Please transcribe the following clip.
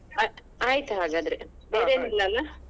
ಆಯ್ತ್ ಆಯ್ತ್ ಹಾಗದ್ರೆ ಬೇರೆನ್ ಇಲ್ಲ ಅಲ್ಲ?